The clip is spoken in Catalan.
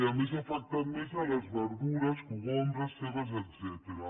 i a més ha afectat més les verdures cogombres cebes etcètera